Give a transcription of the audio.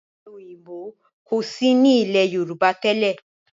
Ọ̀pẹ òyìnbó kò sí ní ilé Yorùbá tẹ́lẹ̀.